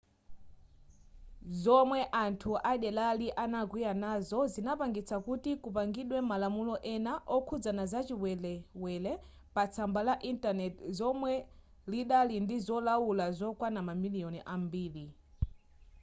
zomwe anthu adelari anakwiya nazo zinapangitsa kuti kupangidwe malamulo ena okhudzana zachiwelewele patsamba la intaneti lomwe lidali ndi zolaula zokwana mamiliyoni ambiri